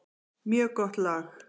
Mjög gott lag.